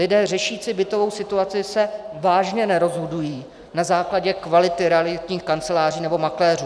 Lidé řešící bytovou situaci se vážně nerozhodují na základě kvality realitních kanceláří nebo makléřů.